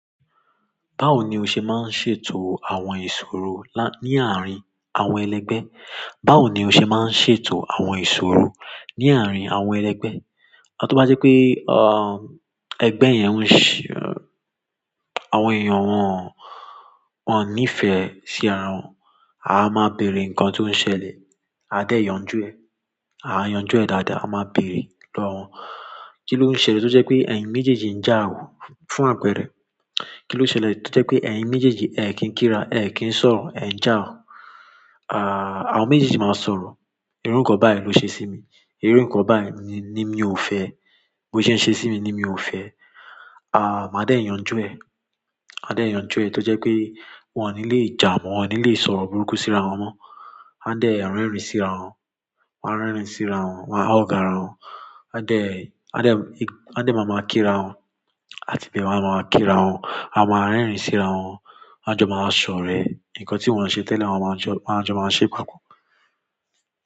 Báwo ni o ṣe máa ń ṣètò àwọn ìṣòro ní àárín àwọn ẹlẹgbẹ́? Báwo ni o ṣe máa ń ṣètò àwọn ìṣòro ní àárín àwọn ẹlẹgbẹ́? Tóbá jẹ́ pé, ẹgbẹ́ yẹn ń-- àwọn èèyàn wọn, wọ́n ò ní ìfẹ́ sí ara wọn. A máa bèèrè nǹkan tó ń ṣẹlẹ̀. A de yanju e. A yanjú ẹ dáadáa, a máa bèèrè lọ́wọ́ wọn. Kí ló ń ṣẹlẹ̀ tó jẹ́ pé ẹ̀yin méjèèjì ń jà ò. Fún àpẹ̀rẹ̀ kí ló ṣẹlẹ̀ tó jẹ́ pé ẹ̀yin méjèèjì ẹ kì n kí ra, ẹ kì í sọ̀rọ̀, ẹ ń jà wò? Àwọn méjèèjì si máa sọ̀rọ̀. Irú nǹkan báyìí ló ṣe sí mi. Irú nǹkan báyìí ni mi ò fẹ́. Bí ó ṣe ń ṣe sí mi ni mi ò fẹ́. Ma de yanju e. A dẹ̀ yanjú ẹ tó jẹ́ pé wọ́n ò ní lè jà mọ́, wọ́n ò ní lè sọ̀rọ̀ burúkú sí ara wọn mọ́. Won a dẹ̀ rerín sí ara wọn. Wọn á rerìn sí ara wọn, wọn á hug ara wọn. Won a de mama kii ara won a tìbẹ̀ won máa kí ra wọn. A máa rínrìn sí ara wọn. A jọ máa sọ̀rẹ́. Ǹkan tí wọ́n ṣe tẹ́lẹ̀ wọn máa jọ, won a jọ máa ṣe papọ̀.